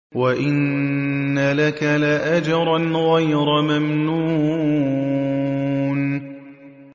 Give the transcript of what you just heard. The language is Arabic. وَإِنَّ لَكَ لَأَجْرًا غَيْرَ مَمْنُونٍ